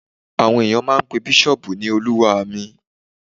Àwọn ènìyàn máa n pe bísọ̀ọ̀bù ní olúwa mi